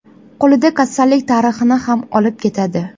Qo‘lida kasallik tarixini ham olib ketadi.